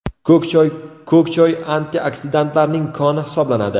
Ko‘k choy Ko‘k choy antioksidantlarning koni hisoblanadi.